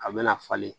A bɛna falen